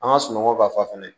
An ka sunɔgɔ b'a fa fɛnɛ